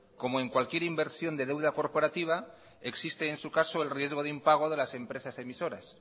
como en cualquier inversión de deuda corporativa existe en su caso el riesgo de impago de las empresas emisoras